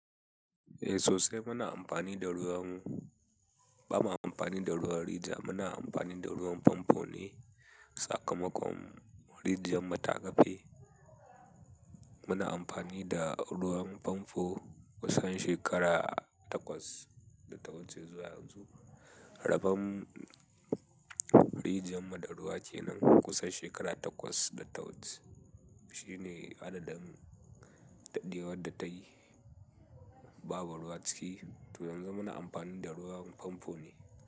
Eh sosai muna amfani da ruwan, ba ma amfani da ruwan rijiya, muna amfani da ruwan famfo ne. Sakamakon rijiyar mu ta kafe, muna amfani da ruwan famfo kusan shekara takwas da tawuce zuwa yanzu. Rabon rijiyar mu daruwa kenan kusan shekara takwas da tawuce. Shi ne adadin daɗewar da ta yi babu ruwa ciki. Toh yanzu muna amfani da ruwan famfo ne.